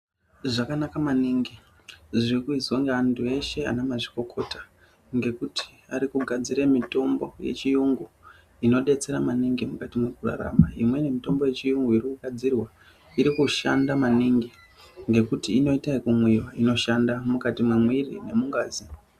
Zvakanaka maningi zvirikuizwa ngeantu eshe ana , mazvikokota ngekuti arikugadzire mitombo yechiyungu inodetsera maningi mukati mwekurarama. Imweni mitombo yechiyungu iri kugadzirwa, irikushanda maningi ngekuti inoita ekumwiwa, inoshanda mukati memwiri nemungazi.